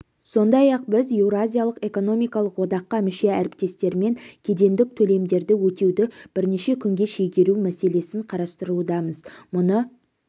сондай-ақ біз еуразиялық экономикалық одаққа мүше әріптестермен кедендік төлемдерді өтеуді бірнеше күнге шегеру мәселесін қарастырудамыз мұны